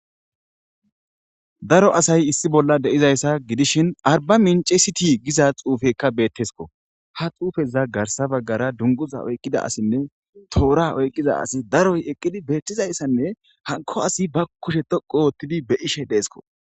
Daro asay issi bolla dizaysa gidishn arbamince sitiy gize xuufeyka betesko. Ha xufeza garsa bagara dunguzoza oykida assine Tora oykida assiy daroy eqid betizaysane hanko asi ba kushe dhoqu otid be'ishe desko.